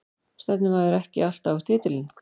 Stefnir maður ekki alltaf á titilinn?